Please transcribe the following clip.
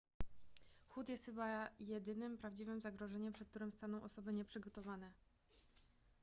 chłód jest chyba jedynym prawdziwym zagrożeniem przed którym staną osoby nieprzygotowane